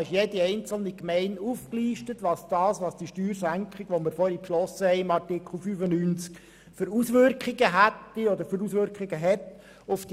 Auf den Seite 57 bis 64 sind die Auswirkungen der vorhin beschlossenen Steuersenkung für